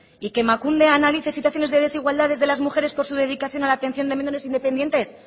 y que emakunde analiza situaciones de desigualdad de las mujeres por su dedicación a la atención de menores independientes